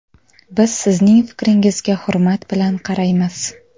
Biz sizning fikringizga hurmat bilan qaraymiz.